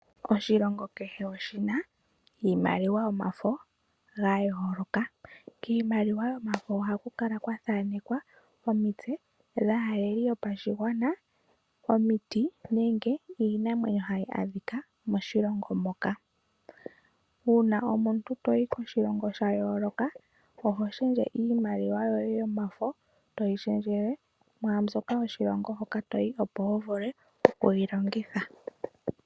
Oshilongo kehe oshi na iimaliwa yomafo ga yooloka. Kiimaliwa yomafo ohaku kala kwa thanekwa omitse dhaaleli yopashigwana, omiti nenge iinamwenyo hayi adhika moshilongo moka. Uuna omuntu to yi koshilongo sha yooloka oho shendje iimaliwa yoye yomafo toyi shendjele mwaa mbyoka yoshilongo hoka to yi, opo wu vule okuyi longitha.